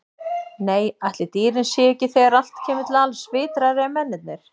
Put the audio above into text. Nei, ætli dýrin séu ekki, þegar allt kemur til alls, vitrari en mennirnir.